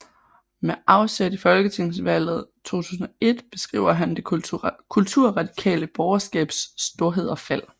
Med afsæt i folketingsvalget 2001 beskriver han det kulturradikale borgerskabs storhed og fald